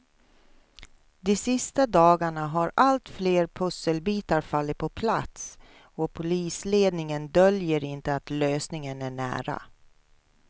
De sista dagarna har allt fler pusselbitar fallit på plats och polisledningen döljer inte att lösningen är nära.